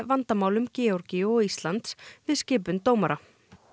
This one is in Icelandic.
vandamálum Georgíu og Íslands við skipun dómara